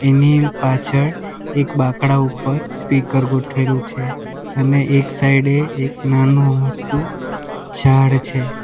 એની પાછળ એક બાંકડા ઉપર સ્પીકર ગોઠવેલું છે અને એક સાઈડે એક નાનુ અમસ્તુ ઝાડ છે.